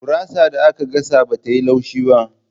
Gurasar da aka gasa bata yi laushi.